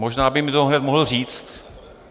Možná by mi to hned mohl říci.